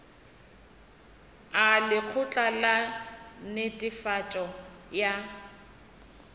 a lekgotla la netefatšo ya